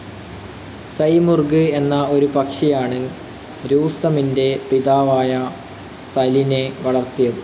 Simurgh എന്ന ഒരു പക്ഷിയാണ് രൂസ്തമിൻ്റെ പിതാവായ സലൈൻ വളർത്തിയത്.